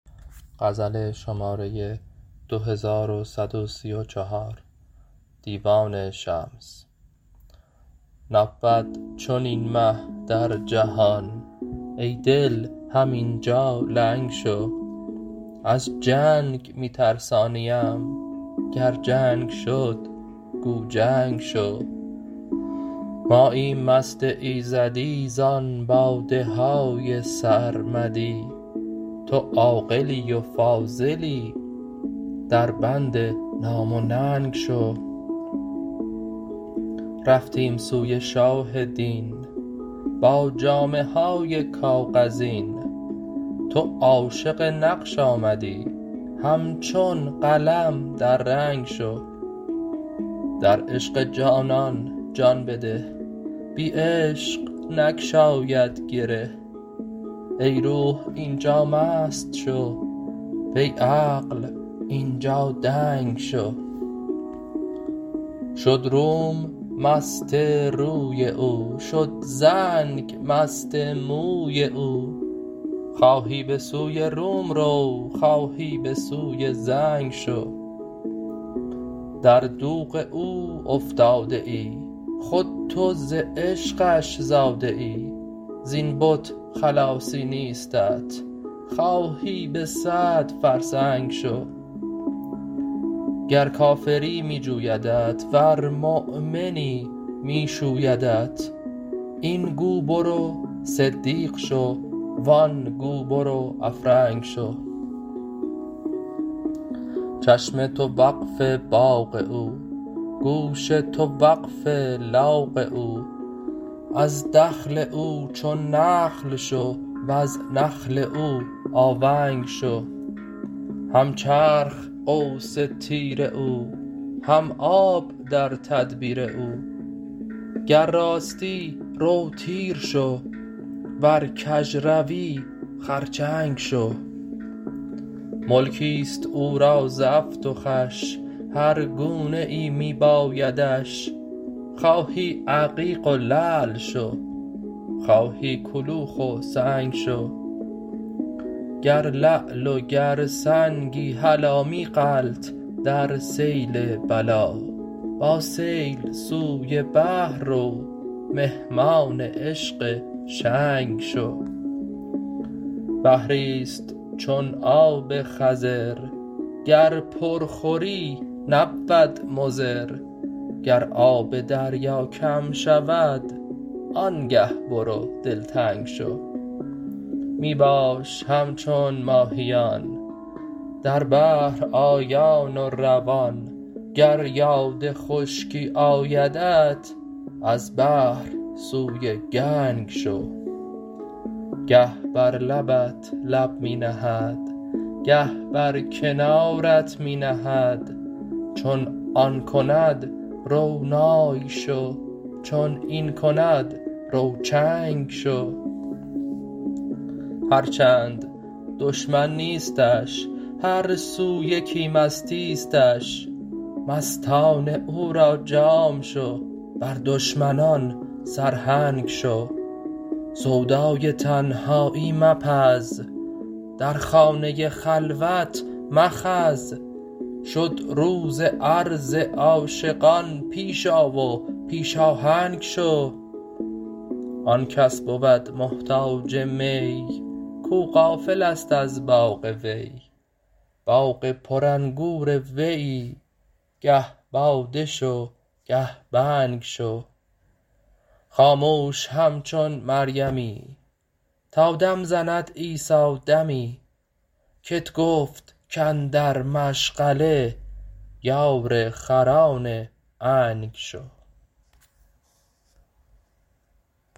نبود چنین مه در جهان ای دل همین جا لنگ شو از جنگ می ترسانیم گر جنگ شد گو جنگ شو ماییم مست ایزدی زان باده های سرمدی تو عاقلی و فاضلی دربند نام و ننگ شو رفتیم سوی شاه دین با جامه های کاغذین تو عاشق نقش آمدی همچون قلم در رنگ شو در عشق جانان جان بده بی عشق نگشاید گره ای روح این جا مست شو وی عقل این جا دنگ شو شد روم مست روی او شد زنگ مست موی او خواهی به سوی روم رو خواهی به سوی زنگ شو در دوغ او افتاده ای خود تو ز عشقش زاده ای زین بت خلاصی نیستت خواهی به صد فرسنگ شو گر کافری می جویدت ورمؤمنی می شویدت این گو برو صدیق شو و آن گو برو افرنگ شو چشم تو وقف باغ او گوش تو وقف لاغ او از دخل او چون نخل شو وز نخل او آونگ شو هم چرخ قوس تیر او هم آب در تدبیر او گر راستی رو تیر شو ور کژروی خرچنگ شو ملکی است او را زفت و خوش هر گونه ای می بایدش خواهی عقیق و لعل شو خواهی کلوخ و سنگ شو گر لعل و گر سنگی هلا می غلت در سیل بلا با سیل سوی بحر رو مهمان عشق شنگ شو بحری است چون آب خضر گر پر خوری نبود مضر گر آب دریا کم شود آنگه برو دلتنگ شو می باش همچون ماهیان در بحر آیان و روان گر یاد خشکی آیدت از بحر سوی گنگ شو گه بر لبت لب می نهد گه بر کنارت می نهد چون آن کند رو نای شو چون این کند رو چنگ شو هر چند دشمن نیستش هر سو یکی مستیستش مستان او را جام شو بر دشمنان سرهنگ شو سودای تنهایی مپز در خانه خلوت مخز شد روز عرض عاشقان پیش آ و پیش آهنگ شو آن کس بود محتاج می کو غافل است از باغ وی باغ پرانگور ویی گه باده شو گه بنگ شو خاموش همچون مریمی تا دم زند عیسی دمی کت گفت کاندر مشغله یار خران عنگ شو